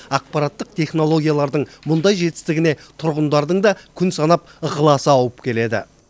ақпараттық технологиялардың мұндай жетістігіне тұрғындардың да күн санап ықыласы ауып келеді